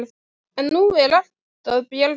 En nú er allt að bjargast.